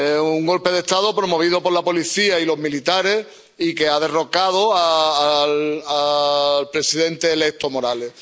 Un golpe de Estado promovido por la policía y los militares y que ha derrocado al presidente electo Morales.